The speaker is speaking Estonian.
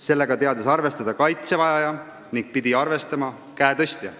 Sellega teadis arvestada kaitse vajaja ja seda pidi arvestama käe tõstja.